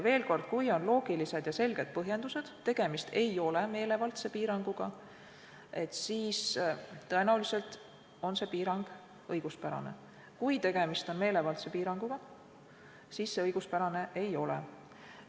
Veel kord: kui on loogilised ja selged põhjendused, tegemist ei ole meelevaldse piiranguga, siis tõenäoliselt on see piirang õiguspärane; kui tegemist on meelevaldse piiranguga, siis see õiguspärane ei ole.